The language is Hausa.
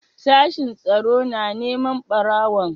Sashen tsaro na neman ɓarawon?